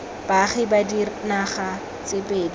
baagi ba dinaga tse pedi